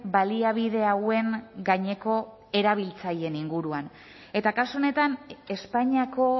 baliabide hauen gaineko erabiltzaileen inguruan eta kasu honetan espainiako